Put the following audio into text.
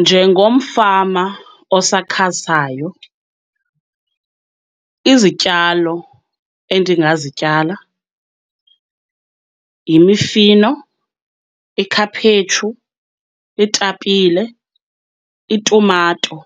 Njengomfama osakhasayo, izityalo endingazityala yimifino, ikhaphetshu, iitapile, itumato,